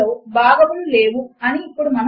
ఈ రచనకు సహాయపడినవారు లక్ష్మి మరియు నిఖిల